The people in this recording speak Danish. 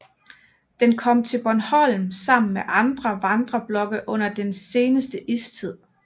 Den kom til Bornholm sammen med andre vandreblokke under den seneste istid